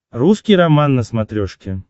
русский роман на смотрешке